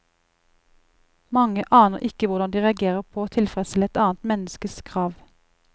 Mange aner ikke hvordan de reagerer på å tilfredsstille et annet menneskes krav.